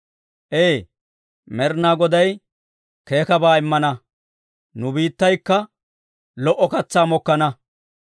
Ee, Med'inaa Goday keekkabaa immana; nu biittaykka lo"o katsaa mokkana.